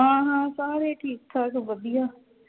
ਹਾਂ ਹਾਂ ਸਾਰੇ ਠੀਕ ਠਾਕ ਵਧੀਆ